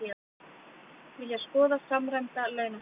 Vilja skoða samræmda launastefnu